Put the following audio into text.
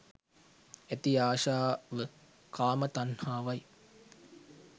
ඇති ආශාව කාම තණ්හාවයි.